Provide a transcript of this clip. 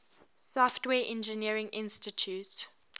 software engineering institute